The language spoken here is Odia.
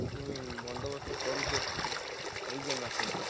ଲାଗୁଚି ବନ୍ଦୋବସ୍ତ କରୁଚି ଏପଟେ ହେଇଯିବ ମାସେ ଭିତରେ।